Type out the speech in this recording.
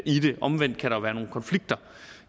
omvendt kan der jo være nogle konflikter